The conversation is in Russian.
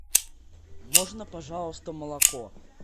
можно пожалуйста молоко